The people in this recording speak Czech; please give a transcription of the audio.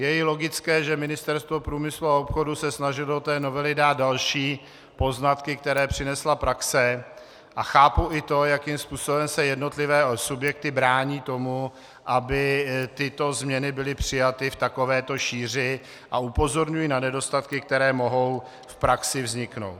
Je i logické, že Ministerstvo průmyslu a obchodu se snažilo do té novely dát další poznatky, které přinesla praxe, a chápu i to, jakým způsobem se jednotlivé subjekty brání tomu, aby tyto změny byly přijaty v takovéto šíři, a upozorňují na nedostatky, které mohou v praxi vzniknout.